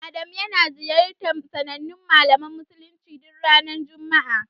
Adamu yana ziyarar sanannen malamin addinin musuluncin duk ranar juma'a.